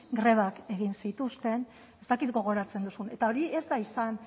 grebak egin zituzten ez dakit gogoratzen duzun eta hori ez da izan